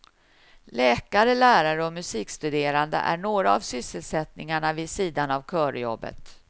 Läkare, lärare och musikstuderande är några av sysselsättningarna vid sidan av körjobbet.